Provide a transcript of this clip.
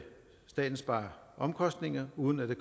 staten spare omkostninger uden at det